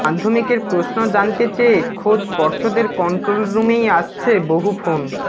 মাধ্যমিকের প্রশ্ন জানতে চেয়ে খোদ পর্ষদের কন্ট্রোল রুমেই আসছে বহু ফোন